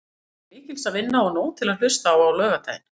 Það er því til mikils að vinna og nóg til að hlusta á laugardaginn.